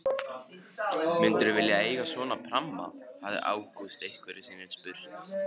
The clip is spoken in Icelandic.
Myndirðu vilja eiga svona pramma? hafði Ágúst einhverju sinni spurt.